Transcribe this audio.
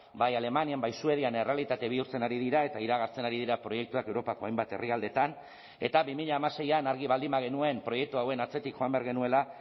bai alemanian bai suedian errealitate bihurtzen ari dira eta iragartzen ari dira proiektuak europako hainbat herrialdetan eta bi mila hamaseian argi baldin bagenuen proiektu hauen atzetik joan behar genuela